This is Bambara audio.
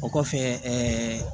O kɔfɛ ɛɛ